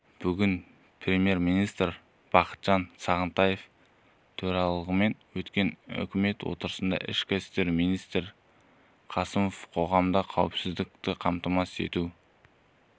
бүгін премьер-министрі бақытжан сағынтаевтың төрағалығымен өткен үкімет отырысында ішкі істер министрі қасымовтың қоғамдық қауіпсіздікті қамтамасыз ету